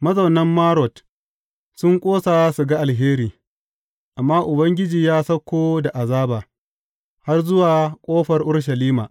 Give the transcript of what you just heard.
Mazaunan Marot sun ƙosa su ga alheri, amma Ubangiji ya sauko da azaba, har zuwa ƙofar Urushalima.